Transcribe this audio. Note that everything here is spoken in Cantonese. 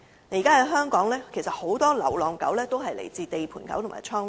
現時香港很多流浪狗均屬於"地盤狗"和"倉狗"。